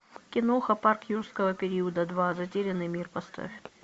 киноха парк юрского периода два затерянный мир поставь